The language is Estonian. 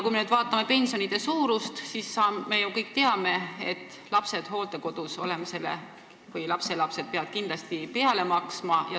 Kui me vaatame pensionide suurust, siis me kõik ju saame aru, et lapsed või lapselapsed peavad hooldekodus olemisele kindlasti peale maksma.